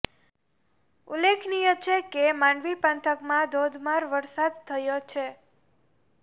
ઉલ્લેખનીય છે કે માંડવી પંથકમાં ધોધમાર વરસાદ થયો છે